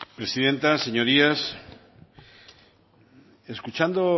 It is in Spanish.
presidenta señorías escuchando